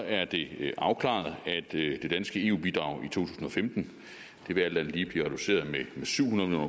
er det afklaret at det danske eu bidrag i to tusind og femten alt andet lige vil blive reduceret med syv hundrede